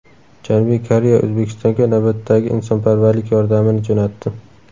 Janubiy Koreya O‘zbekistonga navbatdagi insonparvarlik yordamini jo‘natdi.